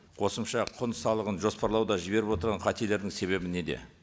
қосымша қүн салығын жоспарлауда жіберіп отырған қателердің себебі неде